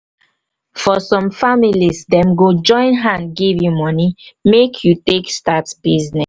for some families dem go join hand give you momey make you take make you take start business